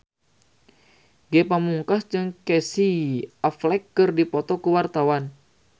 Ge Pamungkas jeung Casey Affleck keur dipoto ku wartawan